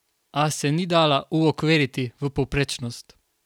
A se ni dala uokviriti v povprečnost.